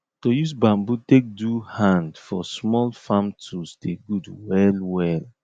to use bambom take do hand for small farm tools dey good well well